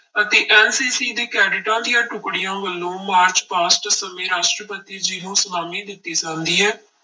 ਅਤੇ NCC ਦੇ ਕੈਡਿਟਾਂ ਦੀਆਂ ਟੁੱਕੜੀਆਂ ਵੱਲੋਂ ਮਾਰਚ ਪਾਸਟ ਸਮੇਂ ਰਾਸ਼ਟਰਪਤੀ ਜੀ ਨੂੰ ਸਲਾਮੀ ਦਿੱਤੀ ਜਾਂਦੀ ਹੈ।